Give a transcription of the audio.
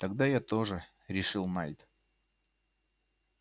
тогда я тоже решил найд